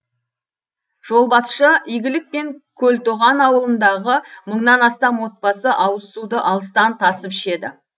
жолбасшы игілік пен көлтоған ауылындағы мыңнан астам отбасы ауыз суды алыстан тасып ішеді